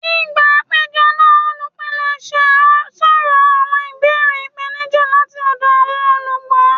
Nigba apejọ naa, olupilẹṣẹ sọrọ awọn ibeere ipenija lati ọdọ awọn olugbo.